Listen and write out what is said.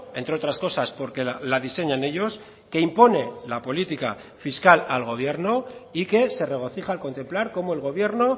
entre otras cosas porque la diseñan ellos que impone la política fiscal al gobierno y que se regocija al contemplar cómo el gobierno